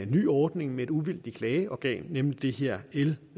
ny ordning med et uvildigt klageorgan nemlig det her l